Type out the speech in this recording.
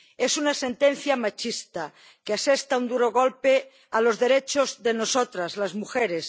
Es una sentencia machista, que asesta un duro golpe a los derechos de nosotras, las mujeres